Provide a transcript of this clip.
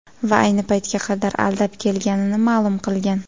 Va ayni paytga qadar aldab kelganini ma’lum qilgan.